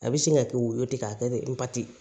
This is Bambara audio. A bɛ sin ka kɛ woyo ten k'a kɛ dɛ